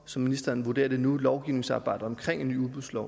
som ministeren vurderer det nu for lovgivningsarbejdet med en ny udbudslov